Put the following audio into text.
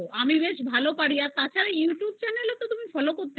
আমি খুব ভালো পারি তাছাড়া তুমি youtube channel এ follow করতে